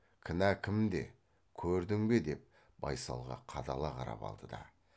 кінә кімде көрдің бе деп байсалға қадала қарап алды да